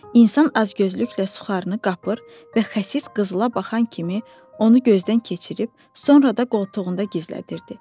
İnsan azgözlüklə suxarını qapır və xəsis qızıla baxan kimi onu gözdən keçirib, sonra da qoltuğunda gizlədirdi.